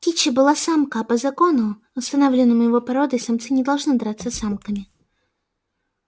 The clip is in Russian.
кичи была самка а по закону установленному его породой самцы не должны драться с самками